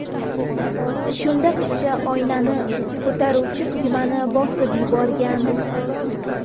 Shunda qizcha oynani ko‘taruvchi tugmani bosib yuborgan.